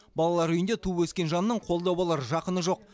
балалар үйінде туып өскен жанның қолдау болар жақыны жоқ